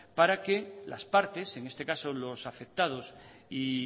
para que las partes en este caso los afectados y